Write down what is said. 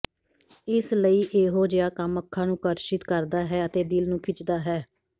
ਇਸ ਲਈ ਇਹੋ ਜਿਹਾ ਕੰਮ ਅੱਖਾਂ ਨੂੰ ਆਕਰਸ਼ਿਤ ਕਰਦਾ ਹੈ ਅਤੇ ਦਿਲ ਨੂੰ ਖਿੱਚਦਾ ਹੈ